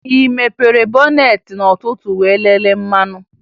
Ị mepere bọneetị n'ụtụtụ wee lelee mmanụ?